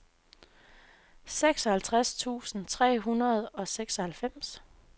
seksoghalvtreds tusind tre hundrede og seksoghalvfems